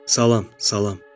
Salam, salam, salam.